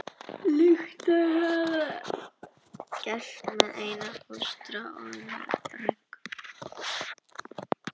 Líkt og þau höfðu áður gert með Einar fóstra og ömmu Rönku.